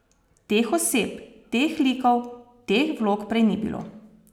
Teh oseb, teh likov, teh vlog prej ni bilo.